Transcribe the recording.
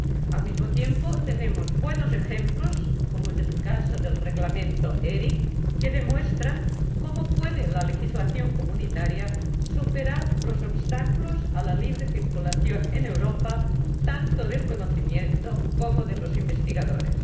Al mismo tiempo, tenemos buenos ejemplos —como es el caso del Reglamento ERIC— que demuestran cómo la legislación comunitaria puede superar los obstáculos a la libre circulación en Europa, tanto del conocimiento como de los investigadores.